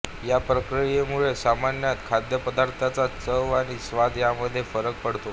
या प्रक्रियेमुळे सामान्यत खाद्यपदार्थाच्या चव आणि स्वाद यामध्ये फरक पडतो